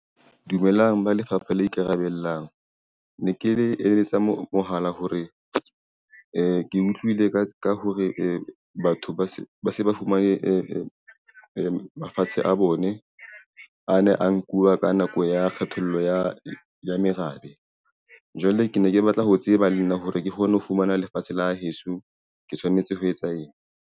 Dumelang ba Lefapha le Ikarabellang. Ne ke le eletsa mohala hore ke utlwile ka hore batho ba se ba fumane mafatshe a bone a ne a nkuwa ka nako ya kgethollo ya merabe. Jwale ke ne ke batla ho tseba le nna hore ke kgone ho fumana lefatshe la heso ke tshwanetse ho etsa eng?